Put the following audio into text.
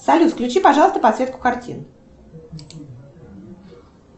салют включи пожалуйста подсветку картин